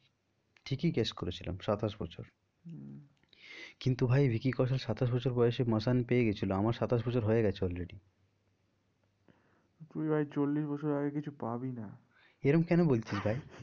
ঠিকই guys করেছিলাম সাতাশ বছর হম কিন্তু ভাই ভিকি কৌশল সাতাশ বছর বয়সে মাসান পেয়ে গিয়েছিলো আমার সাতাশ বছর হয়ে গেছে already তুই ভাই চল্লিশ বছর আগে কিছু পাবি না। এরম কেন বলছিস ভাই?